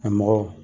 A mɔgɔ